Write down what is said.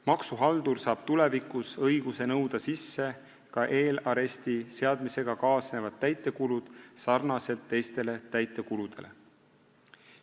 Maksuhaldur saab tulevikus õiguse nõuda sisse ka eelaresti seadmisega kaasnevad täitekulud sarnaselt teiste täitekuludega.